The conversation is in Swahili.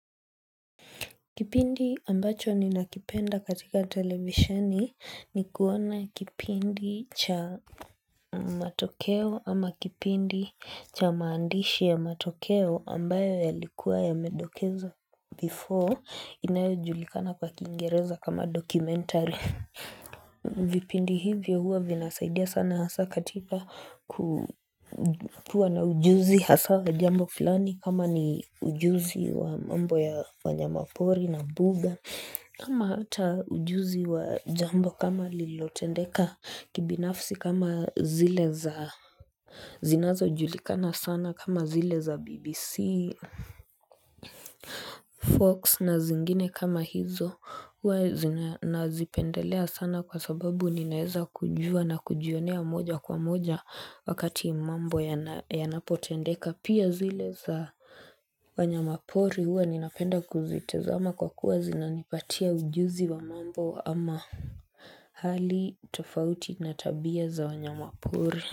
Kipindi ambacho ninakipenda katika televisioni ni kuona kipindi cha matokeo ama kipindi cha maandishi ya matokeo ambayo yalikuwa yamedokezwa before inayojulikana kwa kiingereza kama documentary vipindi hivyo huwa vinasaidia sana hasa katika kuwa na ujuzi haswa la jambo kama ni kama ni ujuzi wa mambo ya wanyama pori na mbuga kama hata ujuzi wa jambo kama lilotendeka kibinafsi kama zile za zinazojulikana sana kama zile za BBC Fox na zingine kama hizo huwa zina nazipendelea sana kwa sababu ninaweza kujua na kujionea moja kwa moja wakati mambo yanapotendeka pia zile za wanyama pori huwa ninapenda kuzitazama kwa kuwa zinanipatia ujuzi wa mambo ama hali tofauti na tabia za wanyama pori.